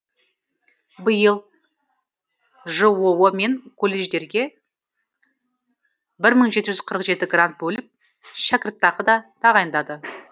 биыл жоо мен колледждерге бір мың жеті жүз қырық жеті грант бөліп шәкіртақы да тағайындады